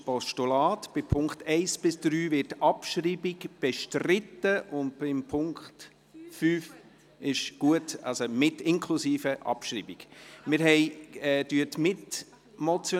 Bei den Punkten 1 bis 3 wird die Abschreibung bestritten, und beim Punkt 5 wird die Abschreibung nicht bestritten.